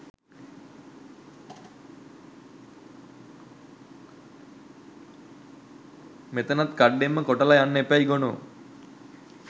මෙතනත් කඩ්ඩෙන්ම කොටල යන්න එපැයි ගොනෝ